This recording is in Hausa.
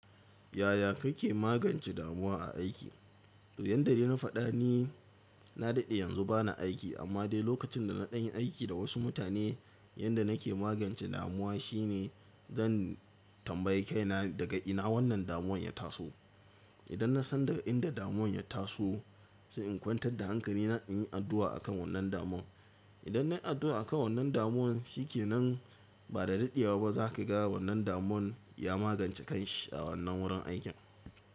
Yaya kake magance damuwa a aiki? Yanda dai na faɗa ni na daɗe yanzu bana aiki amma dai lokacin da na ɗan yiaiki da wasu mutane yanda nake magance damuwa shine zan tambayi kaina daga ina wannan damuwan ya taso. Idan na san daga inda damuwan ya taso sai in kwantar da hankali na in yi addu'a akan wannan damuwan. Idan nayi addu'a akan wannan damuwan shi kenan ba da daɗewa ba zaka ga wannan damuwan ya magance kan shi a wannan wurin aikin.